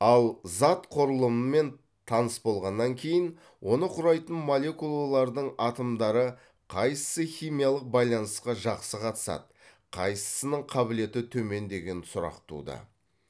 ал зат құрылымымен таныс болғаннан кейін оны құрайтын молекулалардың атомдары қайсысы химиялық байланысқа жақсы қатысады қайсысының қабілеті төмен деген сұрақ туды